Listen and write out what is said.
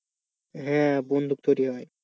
হ্যাঁ বন্দুক তৈরি হয়।